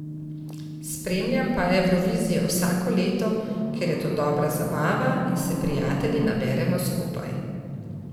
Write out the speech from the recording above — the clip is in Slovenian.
Spremljam pa Evrovizijo vsako leto, ker je to dobra zabava in se prijatelji naberemo skupaj.